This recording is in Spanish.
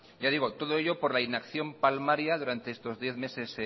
ya digo todo ello por la inacción palmaria durante estos diez meses